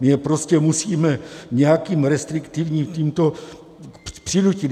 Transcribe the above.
My je prostě musíme nějakým restriktivním tímto přinutit.